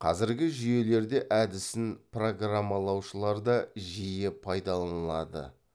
қазіргі жүйелерде әдісін программалаушылар да жиі пайдаланылады